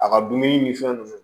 A ka dumuni ni fɛn nunnu